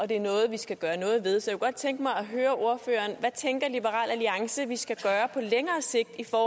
det er noget vi skal gøre noget ved så jeg kunne godt tænke mig at høre ordføreren hvad tænker liberal alliance at vi skal gøre på længere sigt for